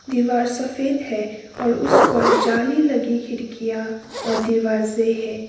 दिवार सफेद है और उस पर जाली लगी खिड़कियां और दीवार से है।